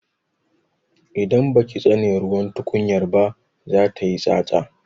Idan baki tsane ruwan tukunyar ba za tayi tsatsa.